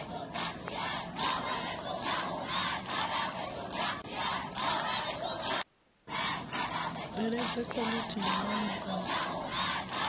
bveledzwe khwalithi ya maimo a